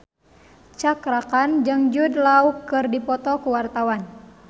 Cakra Khan jeung Jude Law keur dipoto ku wartawan